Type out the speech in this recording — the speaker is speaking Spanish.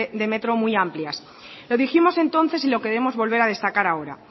de ley de metro muy amplias lo dijimos entonces y lo queremos volver a destacar alguna